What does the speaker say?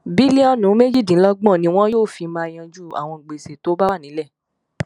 bílíọnù méjìdínlọgbọn ni wọn yóò fi máa yanjú àwọn gbèsè tó bá wà nílẹ